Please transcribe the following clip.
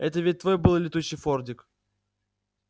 это ведь твой был летучий фордик